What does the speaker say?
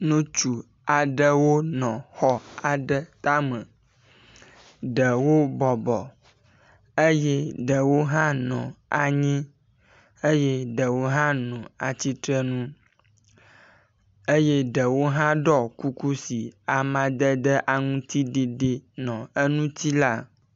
nutsu aɖewo nɔ xɔ aɖe táme, ɖewo bɔbɔ eye ɖewo hã no anyi eye ɖewo hã no atsitsrenu eye ɖewo hã ɖɔ kuku si amadede aŋtsiɖiɖi nɔ énuti la